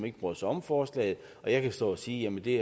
ikke bryder sig om forslaget og jeg kan stå og sige at det